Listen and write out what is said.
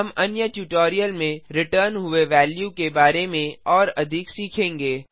हम अन्य ट्यूटोरियल में रिटर्न हुए वेल्यू के बारे में और अधिक सीखेंगे